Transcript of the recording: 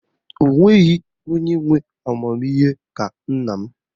O nweghị onye nwe amamihe ka nna m